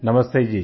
नमस्ते जी